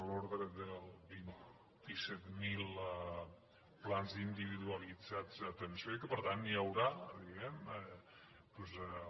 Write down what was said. de l’ordre de vint set mil plans individualitzats d’atenció i que per tant hi haurà diguem ne